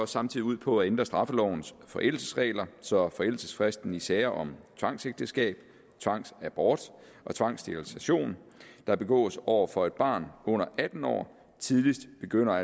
samtidig ud på at ændre straffelovens forældelsesregler så forældelsesfristen i sager om tvangsægteskab tvangsabort og tvangssterilisation der begås over for et barn under atten år tidligst begynder at